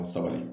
Sabali